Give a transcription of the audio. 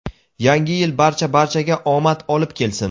Yangi yil barcha barchaga omad olib kelsin.